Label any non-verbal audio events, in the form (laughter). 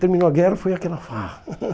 Terminou a guerra, foi aquela farra. (laughs)